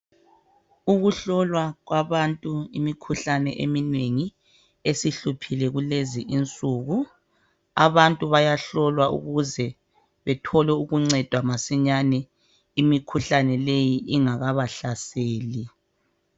Ukuhlolwa kwabantu imikhuhlane eminengi esihluphile kulezi insuku, abantu bayahlolwa ukuze bethole ukuncedwa masinyane imikhuhlane leyi ingakabahlaseli